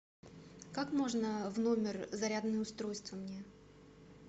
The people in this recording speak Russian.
как можно в номер зарядное устройство мне